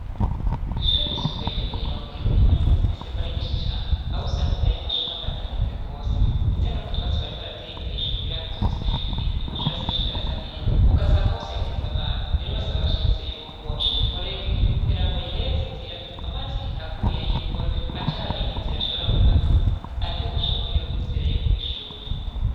Kw'ishuri ryisumbuye ryo mw'irongero imvura imazi imisi igwa ari nyinshi cane awe usanga imbere y'amashuri amazi ateze rwose, ndetse n'umutwatsi bari barateye imbere y'ishuru ukugira ngo ivyutse amashuri asishigara asa nezwa ugasanga hose yateze amazi rero basaba abashimise yuko ubocuma ifurege kugira ngo bayihereze inzira amazi aguye y'imvura aca ari abindi nzira ashobora gufata arike guca mwiyonzira yo kw'ishuri.